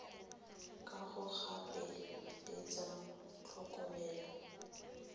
kago gape le tsa tlhokomelo